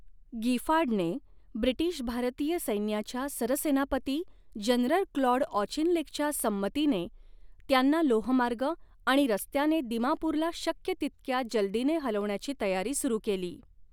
गिफार्डने British भारतीय सैन्याच्या सरसेनापती जनरल क्लॉड ऑचिनलेकच्या संमतीने त्यांना लोहमार्ग आणि रस्त्याने दिमापूरला शक्य तितक्या जलदीने हलवण्याची तयारी सुरू केली.